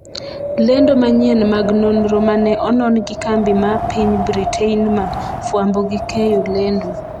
lendo manyien mag nonro mane onon gi kambi ma piny Britainmar fwambo gi keyo lendo